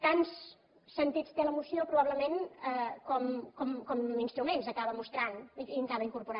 tants sentits té la moció probablement com instruments acaba mostrant i acaba incorporant